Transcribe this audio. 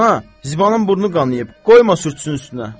Ana, Zibanın burnu qanıyıb, qoyma sürtsün üstünə.